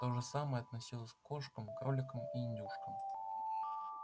то же самое относилось к кошкам кроликам и индюшкам